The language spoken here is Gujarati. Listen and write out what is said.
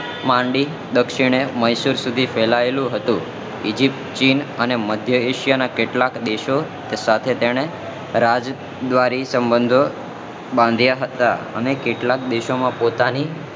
માંડી દક્ષિણ સુધી ફેલાયેલું હતું ઈજીપ્ત ચીન અને મધ્ય એશિયા ના કેટલા દેશો સાથે તેઓને રાજદ્વારી સંબંધો બાંધ્યા હતા અને કેટલાક દેશો માં પોતાની